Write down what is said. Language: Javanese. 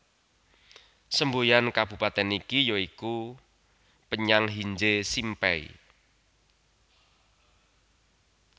Semboyan kabupatèn iki ya iku Penyang Hinje Simpei